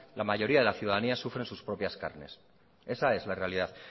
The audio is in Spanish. la mayoría de la ciudadanía sufre en sus propias carnes esa es la realidad